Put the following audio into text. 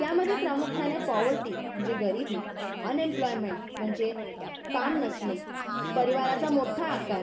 यामध्ये प्रामुख्याने पोवर्टी म्हणजे गरीबी, अनएम्प्लॉयमेंट म्हणजे काम नसणे, परिवरचा मोठा आकार